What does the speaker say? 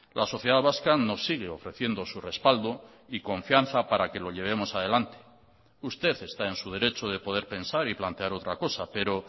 la sociedad vasca nos sigue ofreciendo su respaldo y confianza para que lo llevemos adelante usted está en su derecho de poder pensar y plantear otra cosa pero